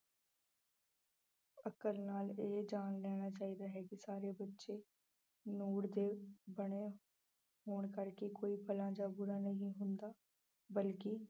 ਨਾਲ ਇਹ ਜਾਣ ਲੈਣਾ ਚਾਹੀਦਾ ਹੈ ਕਿ ਸਾਰੇ ਬੱਚੇ ਬਣੇ ਹੋਣ ਕਰਕੇ ਕੋਈ ਭਲਾ ਜਾਂ ਬੁਰਾ ਨਹੀਂ ਹੁੰਦਾ, ਬਲਕਿ